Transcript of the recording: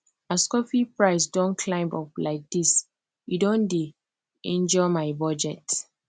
as coffee price don climb up like this e don dey injure my budget